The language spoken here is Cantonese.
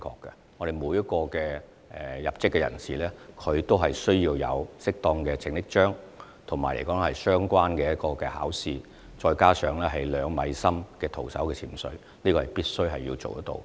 因為每名入職的救生員也須持有適當的救生章、通過相關考試，並符合徒手潛水至2米水深處的考核要求。